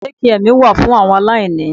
Dékià mi wà fún àwọn aláìní.